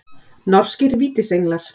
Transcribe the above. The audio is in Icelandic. Norskir Vítisenglar.